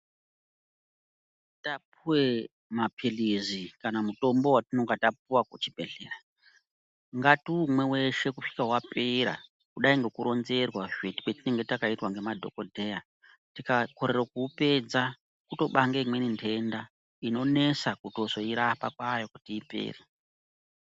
Tapuwe mapilizi kana mutombo watinonga tapuwa ku chi bhedhlera ngatiumwe weshe kusvika wapera kudai ngeku ronzerwa kwetinenge takaitwa ne madhokodheya tika korera ku upedza kuto bange imweni ndenda inonesa kuzotoi rapa kwayo kuti ipere.